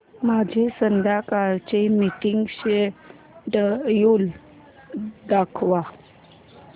माझे संध्याकाळ चे मीटिंग श्येड्यूल दाखव